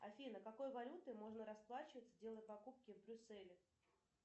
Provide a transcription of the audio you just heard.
афина какой валютой можно расплачиваться делая покупки в брюсселе